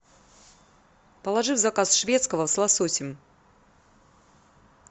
положи в заказ шведского с лососем